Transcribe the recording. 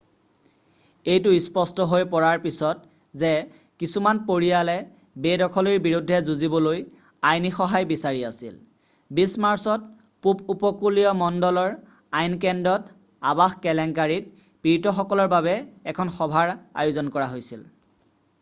এইটো স্পষ্ট হৈ পৰাৰ পিছত যে কিছুমান পৰিয়ালে বেদখলীৰ বিৰুদ্ধে যুঁজিবলৈ আইনী সহায় বিচাৰি আছিল 20 মাৰ্চত পূৱ উপকূলীয় মণ্ডলৰ আইন কেন্দ্ৰত আবাস কেলেংকাৰীত পীড়িতসকলৰ বাবে এখন সভাৰ আয়োজন কৰা হৈছিল